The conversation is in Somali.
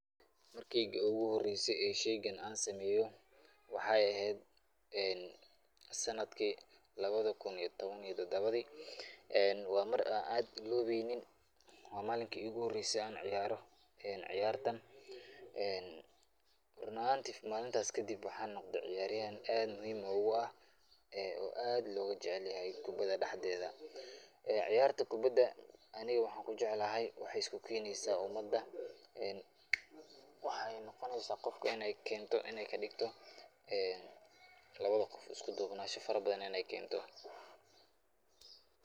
Markeeygi iigu horeeyse aan sheeygan sameeyo, waxaay eheed sanadki labada kun iyo taban iyo tabadii, waa mar aan iloobeynin, waa malinki iigu horeyse aan ciyaaro ciyaartan, run ahaanti malintaas kadib waxaan noqde ciyaaryahan aad muhiim oogu ah oo aad looga jecel yahay kubada dexdeeda, ciyaarta kubada aniga waxaan kujeclahay waxaay isku keneysa umada, waxeey noqoneysa qofka inaay kadigto labada qof isku duubnasho fara badan inaay keento.